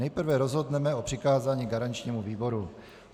Nejprve rozhodneme o přikázání garančnímu výboru.